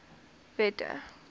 wette